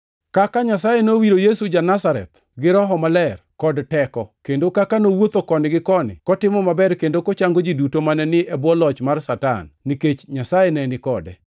kaka Nyasaye nowiro Yesu ja-Nazareth gi Roho Maler kod teko, kendo kaka nowuotho koni gi koni kotimo maber kendo kochango ji duto mane ni e bwo loch mar Satan, nikech Nyasaye ne ni kode.